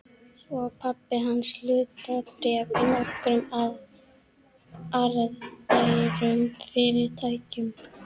Svo á pabbi hans hlutabréf í nokkrum arðbærum fyrirtækjum.